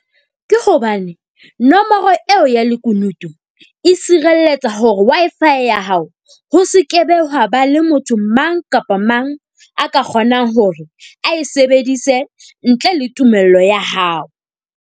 Ke hobane nomoro eo ya lekunutu e sirelletsa hore Wi-Fi ya hao ho sekebe hwa ba le motho mang kapa mang a ka kgonang hore ae sebedise ntle le tumello ya hao.